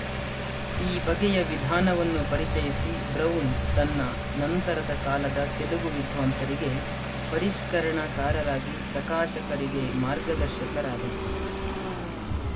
ಈ ಬಗೆಯ ವಿಧಾನವನ್ನು ಪರಿಚಯಿಸಿ ಬ್ರೌನ್ ತನ್ನ ನಂತರದ ಕಾಲದ ತೆಲುಗು ವಿದ್ವಾಂಸರಿಗೆ ಪರಿಶ್ಕರಣಕಾರರಾಗಿ ಪ್ರಕಾಶಕರಿಗೆ ಮಾರ್ಗದರ್ಶಕರಾದರು